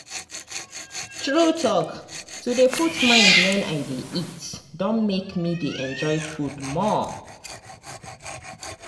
true talk to dey put mind wen i dey eat don make me dey enjoy food more.